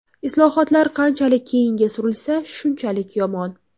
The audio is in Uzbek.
Islohotlar qanchalik keyinga surilsa, shunchalik yomon.